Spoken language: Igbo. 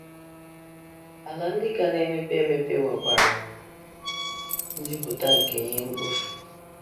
Ala ndị ka na - emepe emepe nwekwara njupụta nke ihe mkpofu.